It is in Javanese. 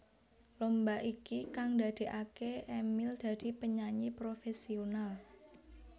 Lomba iki kang ndadekaké Emil dadi penyanyi profesional